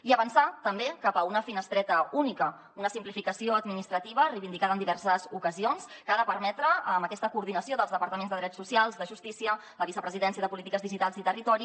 i avançar també cap a una finestreta única una simplificació administrativa reivindicada en diverses ocasions que ha de permetre amb aquesta coordinació dels departaments de drets socials de justícia de la vicepresidència de polítiques digitals i territori